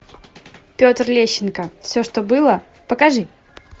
петр лещенко все что было покажи